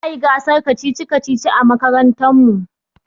Za a yi gasar kacici-kacici a makarantar mu.